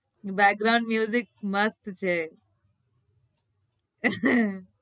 Background મસ્ત છે